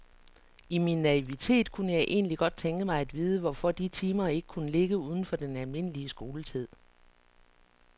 I min naivitet kunne jeg egentlig godt tænke mig at vide, hvorfor de timer ikke kunne ligge uden for den almindelige skoletid.